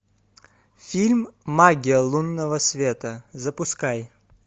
фильм магия лунного света запускай